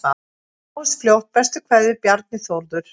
Sjáumst fljótt, bestu kveðjur: Bjarni Þórður